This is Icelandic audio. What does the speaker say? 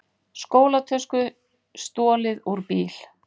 Skólatösku stolið úr bíl